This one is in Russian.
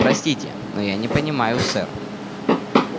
простите но я не понимаю сэр